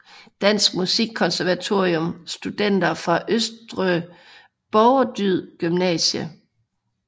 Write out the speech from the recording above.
Danske Musikkonservatorium Studenter fra Østre Borgerdyd Gymnasium